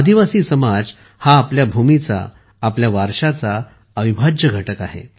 आदिवासी समाज हा आपल्या भूमीचा आपल्या वारशाचा अविभाज्य घटक आहे